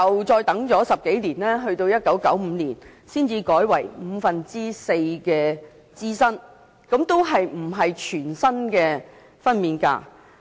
再過了10多年後，在1995年才改為支薪五分之四，仍然未有全薪分娩假。